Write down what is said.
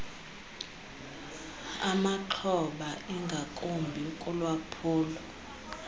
amaxhoba ingakumbi kulwaphulo